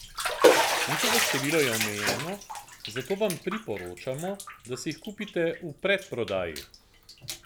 Njihovo število je omejeno, zato vam priporočamo, da si jih kupite v predprodaji.